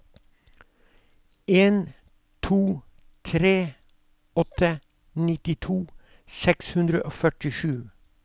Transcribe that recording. en to tre åtte nittito seks hundre og førtisju